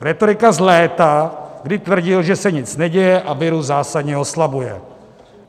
Rétorika z léta, kdy tvrdil, že se nic neděje a virus zásadně oslabuje.